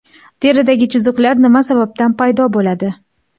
Teridagi chiziqlar nima sababdan paydo bo‘ladi?.